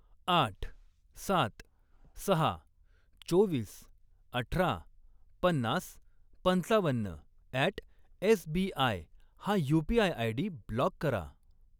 आठ, सात, सहा, चोवीस, अठरा, पन्नास, पंचावन्न अॅट एसबीआय हा यू.पी.आय. आयडी ब्लॉक करा.